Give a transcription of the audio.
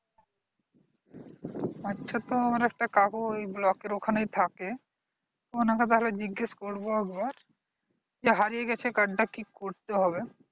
আচ্ছা তো আমার একটা কাকু ওই block এর ওখানেই থাকে, ওখানে তো তাহলে জিজ্ঞেস করবো একবার যে হারিয়ে গেছে card টা কি করতে হবে?